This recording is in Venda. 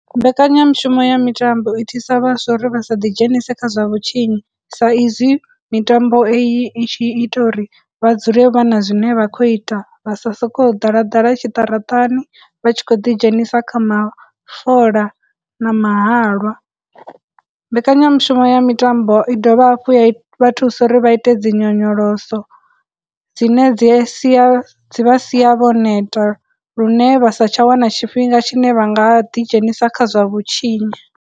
Mbekanyamushumo ya mitambo i thusa vhaswa uri vha sa ḓi dzhenise kha zwa vhutshinyi, sa izwi mitambo iyi i tshi ita uri vha dzule vha na zwine vha khou ita, vha sa sokou ḓala ḓala tshiṱaratani, vha tshi khou ḓi dzhenisa kha mafola na mahalwa. Mbekanyamushumo ya mitambo i dovha hafhu ya vha thusa uri vha ite dzinyonyoloso dzine dzi sia, dzi vha sia vho neta lune vha sa tsha wana tshifhinga tshine vha nga ḓi dzhenisa kha zwa vhutshinyi.